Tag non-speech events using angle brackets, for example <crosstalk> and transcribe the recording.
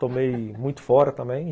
Tomei <laughs> muito fora também.